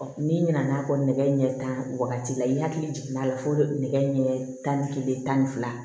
n'i nana fɔ nɛgɛ ɲɛ tan wagati la i hakili jiginna a la fo nɛgɛ ɲɛ tan ni kelen tan ni fila